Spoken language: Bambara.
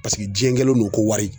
diɲɛ kɛlen don ko wari